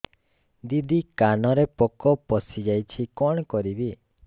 ଦିଦି କାନରେ ପୋକ ପଶିଯାଇଛି କଣ କରିଵି